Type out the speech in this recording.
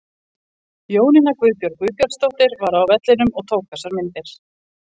Jónína Guðbjörg Guðbjartsdóttir var á vellinum og tók þessar myndir.